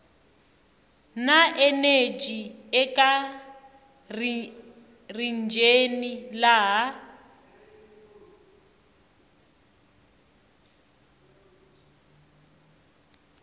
na eneji eka rijini laha